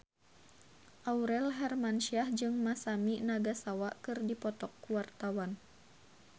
Aurel Hermansyah jeung Masami Nagasawa keur dipoto ku wartawan